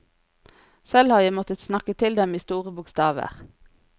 Selv har jeg måttet snakke til dem i store bokstaver.